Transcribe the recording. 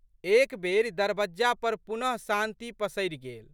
एक बेरि दरबज्जा पर पुनःशांति पसरि गेल।